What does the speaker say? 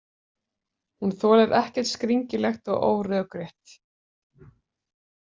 Hún þolir ekkert skringilegt og órökrétt.